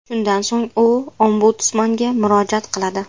Shundan so‘ng u Ombudsmanga murojaat qiladi.